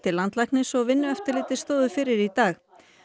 landlæknis og Vinnueftirlitið stóðu fyrir í dag